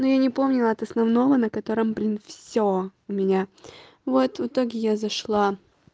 ну я не помнила от основного на котором блин всё у меня вот в итоге я зашла